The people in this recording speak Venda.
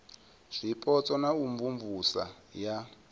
zwipotso na u imvumvusa ya